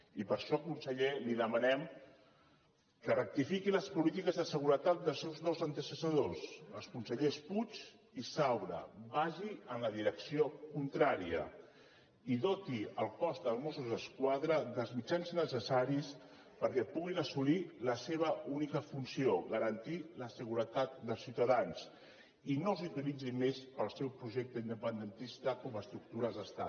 i per això conseller li demanem que rectifiqui les polítiques de seguretat dels seus dos antecessors els consellers puig i saura vagi en la direcció contrària i doti el cos dels mossos d’esquadra dels mitjans necessaris perquè puguin assolir la seva única funció garantir la seguretat dels ciutadans i no els utilitzin més per al seu projecte independentista com a estructura d’estat